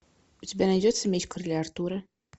у тебя найдется меч короля артура